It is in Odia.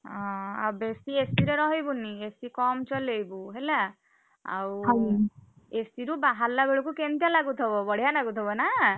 ଅ ଆଉ ବେଶୀ AC ରେ ରହିବୁନି, AC କମ୍ ଚଲେଇବୁ ହେଲା। AC ରୁ ବାହାରିଲା ବେଳକୁ କେମତି ଲାଗୁଥିବ ବଢିଆ ଲାଗୁଥିବ ନାଁ?